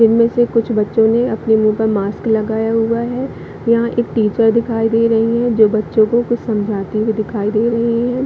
इनमे से कुछ बच्चों ने अपने मुँह पर मास्क लगाया हुआ है यहाँ पर एक टीचर दिखाई दे रही है जो बच्चों को कुछ समझाते हुए दिखाई दे रही है।